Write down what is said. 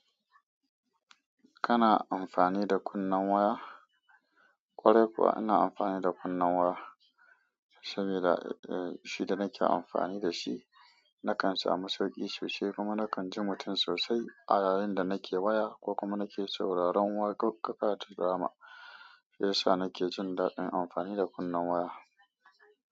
Kana amfani da kunnan waya? Kwarai kuwa ina amfani da kunnan waya. Saboda eh shi da nake amfani da shi, nakan samu sauki sosai kuma nakan ji mutum sosai. A yayin da nake waya ko kuma nake sauraron waƙoƙa ko drama. Shiyasa nake jin daɗin amfani da kunnan waya.